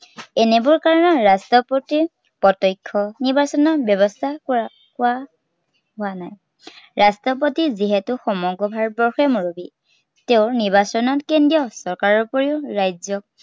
এনেবোৰ কাৰনত ৰাষ্ট্ৰপতিৰ প্ৰত্য়ক্ষ নিৰ্বাচনৰ ব্য়ৱস্থা কৰা, কোৱা, হোৱা নাই। ৰাষ্ট্ৰপতি যিহেতু সমগ্ৰ ভাৰতবৰ্ষৰে মুৰব্বী। তেওঁ নিৰ্বাচন কেন্দ্ৰীয় চৰকাৰৰ উপৰিও ৰাজ্য়